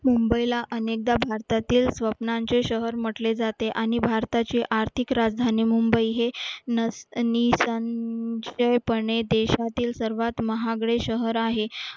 मुंबईला अनेकदा भारतातील स्वप्नांचे शहर म्हटले जाते आणि भारताचे आर्थिक राजधानी मुंबई हे पण या देशातील सर्वात महागडे शहर आहे